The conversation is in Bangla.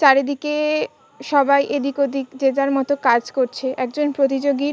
চারিদিকে-এ সবাই এদিক ওদিক যে যার মত কাজ করছে। একজন প্রতিযোগী ।